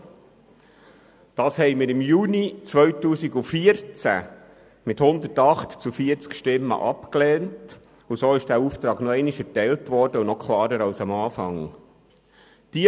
Im Juni 2014 lehnten wir das mit 108 zu 40 Stimmen ab, weshalb dieser Auftrag erneut – und noch etwas klarer als zu Beginn – erteilt wurde.